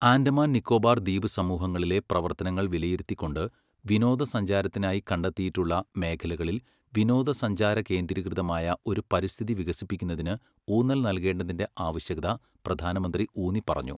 ആൻഡമാൻ നിക്കോബാർ ദ്വീപസമൂഹങ്ങളിലെ പ്രവർത്തനങ്ങൾ വിലയിരുത്തിക്കൊണ്ട് വിനോദസഞ്ചാരത്തിനായി കണ്ടെത്തിയിട്ടുള്ള മേഖലകളിൽ വിനോദസഞ്ചാരകേന്ദ്രീകൃതമായ ഒരു പരിസ്ഥിതി വികസിപ്പിക്കുന്നതിന് ഊന്നൽ നൽകേണ്ടതിന്റെ ആവശ്യകത പ്രധാനമന്ത്രി ഊന്നിപ്പറഞ്ഞു.